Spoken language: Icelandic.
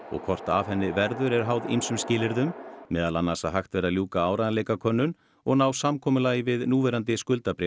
og hvort af henni verður er háð ýmsum skilyrðum meðal annars að hægt verði að ljúka áreiðanleikakönnun og ná samkomulagi við núverandi